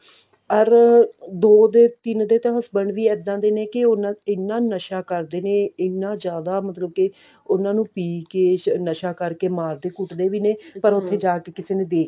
ਅਰ ਦੋ ਦੇ ਤਿੰਨ ਦੇ husband ਵੀ ਇੱਦਾਂ ਦੇ ਨੇ ਕਿ ਉਹਨਾਂ ਇੰਨਾ ਨਸ਼ਾ ਕਰਦੇ ਨੇ ਇੰਨਾ ਜਿਆਦਾ ਮਤਲਬ ਕਿ ਉਹਨਾਂ ਨੂੰ ਪੀ ਕਿ ਨਸ਼ਾ ਕਰਕੇ ਮਾਰਦੇ ਕੁੱਟਦੇ ਵੀ ਨੇ ਪਰ ਉੱਥੇ ਜਾ ਕਿ ਕਿਸੇ ਨੇ ਦੇਖ